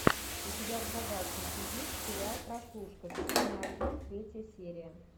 у тебя в загашнике есть сериал прослушка сезон один третья серия